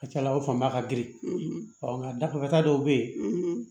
A ca ala o fan ba ka girin ɔ nka dafa dɔw bɛ yen